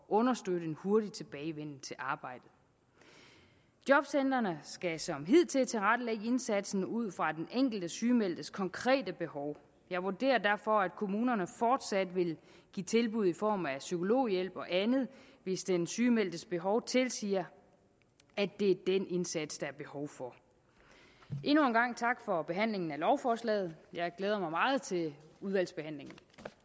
understøtte en hurtig tilbagevenden til arbejdet jobcentrene skal som hidtil tilrettelægge indsatsen ud fra den enkelte sygemeldtes konkrete behov jeg vurderer derfor at kommunerne fortsat vil give tilbud i form af psykologhjælp og andet hvis den sygemeldtes behov tilsiger at det er den indsats der er behov for endnu en gang tak for behandlingen af lovforslaget jeg glæder mig meget til udvalgsbehandlingen